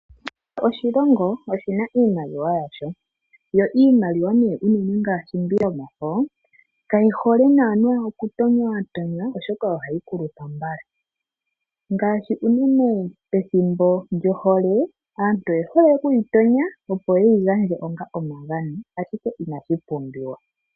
Kehe oshilongo oshina iimaliwa yasho, yo iimaliwa nee unene ngaashi mbi yomafo kayi hole naana okutonywatonywa oshoka ohayi kulupa mbala, ngaashi unene pethimbo lyohole aantu oye hole okuyi tonya opo yeyi gandje onga omagano ashike inashi pumbiwa.